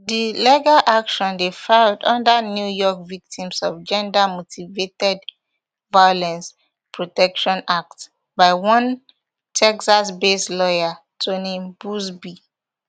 di legal action dey filed under new york victims of gendermotivated violence protection act by one texasbased lawyer tony buzbee